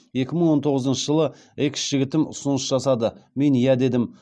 екі мың он тоғызыншы жылы экс жігітім ұсыныс жасады мен иә дедім